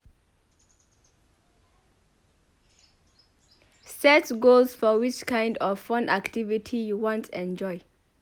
Set goals for which kind of fun activity you want enjoy